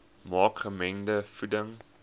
maak gemengde voeding